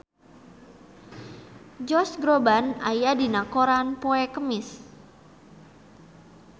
Josh Groban aya dina koran poe Kemis